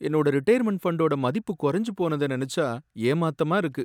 என்னோட ரிடயர்மென்ட் ஃபண்டோட மதிப்பு கொறைஞ்சு போனத நெனச்சா ஏமாத்தமா இருக்கு.